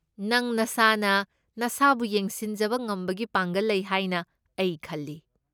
ꯅꯪ ꯅꯁꯥꯅ ꯅꯁꯥꯕꯨ ꯌꯦꯡꯁꯤꯟꯖꯕ ꯉꯝꯕꯒꯤ ꯄꯥꯡꯒꯜ ꯂꯩ ꯍꯥꯏꯅ ꯑꯩ ꯈꯜꯂꯤ꯫